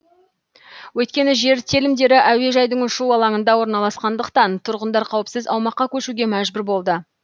өйткені жер телімдері әуежайдың ұшу алаңында орналасқандықтан тұрғындар қауіпсіз аумаққа көшуге мәжбүр болды